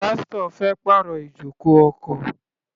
Pásítọ̀ fẹ́ pàrọ̀ ijoko ọkọ̀.